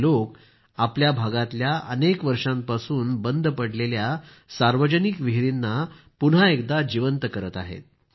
हे लोक आपल्या भागातल्या अनेक वर्षांपासून बंद पडलेल्या सार्वजनिक विहिरींना पुन्हा एकदा जीवंत करीत आहेत